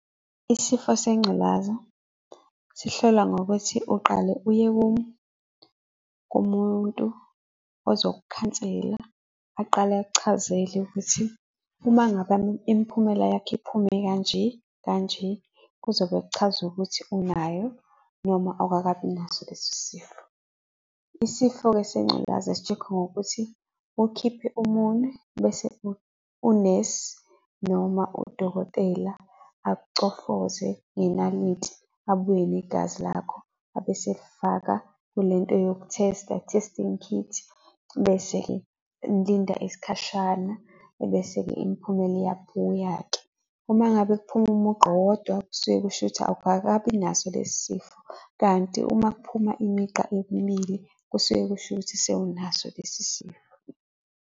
Isifo sengculaza sihlola ngokuthi uqale uye kumuntu ozokukhansela aqale akuchazele ukuthi uma ngabe imiphumela yakho iphume kanje, kanje kuzobe kuchaza ukuthi unayo noma awkakabi naso lesi sifo. Isifo-ke sengculaza si-check-wa ngokuthi ukhiphe umunwe bese unesi noma udokotela akucofoze ngenaliti, abuye negazi lakho, abese efaka kule nto yoku-test-a, testing kit, ebese-ke nilinda isikhashana, ebese-ke imiphumela iyabuya-ke. Uma ngabe kuphuma umugqa owodwa kusuke kusho ukuthi awukakabi naso lesi sifo, kanti uma kuphuma imigqa emibili kusuke kusho ukuthi sewunaso lesi sifo.